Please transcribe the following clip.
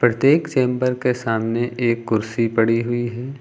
प्रत्येक चेंबर के सामने एक कुर्सी पड़ी हुई है।